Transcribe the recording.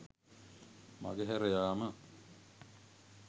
මඟ හැර යාම